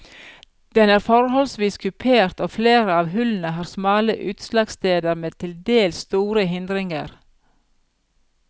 Den er forholdsvis kupert og flere av hullene har smale utslagsteder med tildels store hindringer.